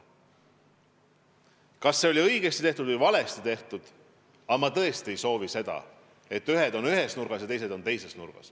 Kas see oli õigesti tehtud või valesti tehtud, on iseküsimus, aga ma tõesti ei soovi seda, et ühed on ühes nurgas ja teised on teises nurgas.